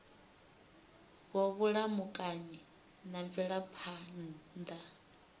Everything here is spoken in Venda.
wa vhulamukanyi na mvelaphan ḓa